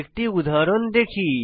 একটি উদাহরণ দেখি